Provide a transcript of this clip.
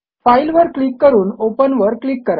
file वर click करून open वर क्लिक करा